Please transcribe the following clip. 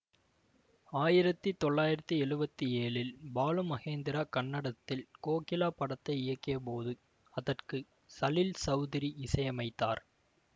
ஆயிரத்தி தொள்ளாயிரத்தி எழுவத்தி ஏழில் பாலுமகேந்திரா கன்னடத்தில் கோகிலா படத்தை இயக்கியபோது அதற்கு சலீல் சௌதுரி இசையமைத்தார்